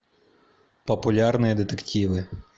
популярные детективы